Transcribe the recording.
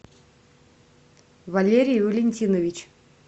валерий валентинович